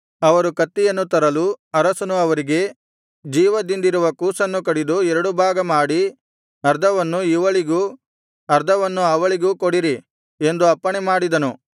ಅವರು ಕತ್ತಿಯನ್ನು ತರಲು ಅರಸನು ಅವರಿಗೆ ಜೀವದಿಂದಿರುವ ಕೂಸನ್ನು ಕಡಿದು ಎರಡು ಭಾಗ ಮಾಡಿ ಅರ್ಧವನ್ನು ಇವಳಿಗೂ ಅರ್ಧವನ್ನು ಅವಳಿಗೂ ಕೊಡಿರಿ ಎಂದು ಅಪ್ಪಣೆ ಮಾಡಿದನು